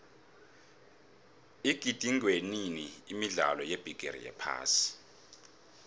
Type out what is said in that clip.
igidingwenini imidlalo yebigiri yephasi